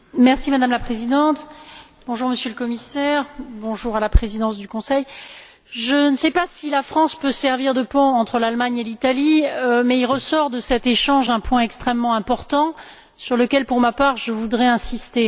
Madame la Présidente, Monsieur le Commissaire, Madame la Présidente du Conseil, je ne sais pas si la France peut servir de pont entre l'Allemagne et l'Italie, mais il ressort de cet échange un point extrêmement important, sur lequel, pour ma part, je voudrais insister.